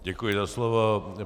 Děkuji za slovo.